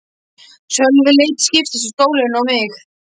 Sölvi leit til skiptis á stólinn og mig.